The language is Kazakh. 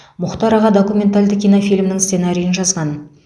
мұхтар аға документалды кинофильмінің сценарийін жазған